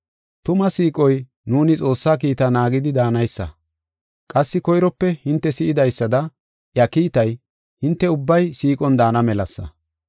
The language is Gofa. Tuma siiqoy nuuni Xoossaa kiitaa naagidi daanaysa. Qassi koyrope hinte si7idaysada iya kiitay, hinte ubbay siiqon daana melasa.